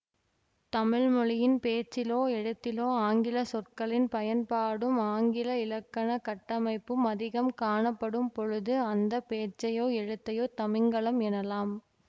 தமிழ் மொழியின் பேச்சிலோ எழுத்திலோ ஆங்கில சொற்களின் பயன்பாடும் ஆங்கில இலக்கணக் கட்டமைப்பும் அதிகம் காணப்படும் பொழுது அந்த பேச்சையோ எழுத்தையோ தமிங்கிலம் எனலாம்